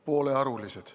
Poolearulised.